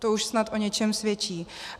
To už snad o něčem svědčí.